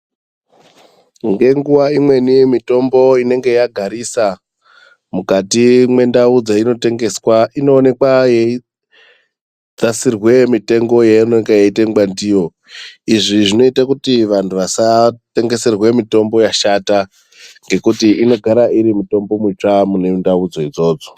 Ngenguwa imweni mitombo inenge yagarisa mukati mwendau dzainotengeserwa inoonekwa yeidzasirwe mitengo yeinenge yeitengwa ndiyo. Izvi zvinoita kuti vantu vasatengeserwa mitombo yashata ngekuti inogara iri mitombo mitsva mune ndaudzo idzodzo.